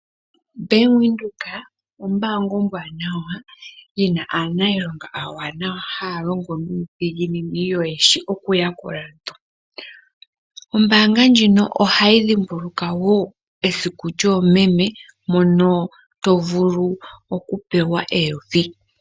Bank Windhoek ombanga ombwanawa yiina aanilonga awanawa haya longo nuudhiginini yo yeshi okuyakula aantu. Ombanga ndjino ohayi dhimbulukwa wo esiku lyomeme mono to vulu okupewa eyovi.